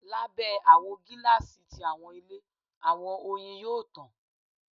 Labẹ awọ gilasi ti awọn ile, awọn oyin yoo tan